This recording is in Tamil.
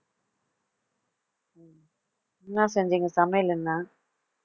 என்ன செஞ்சீங்க சமையல் என்ன